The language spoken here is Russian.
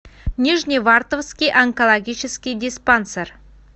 нижневартовский онкологический диспансер